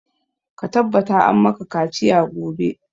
Ka tabbata an maka kaciya gobe!